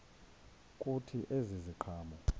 kuthi ezi ziqhamo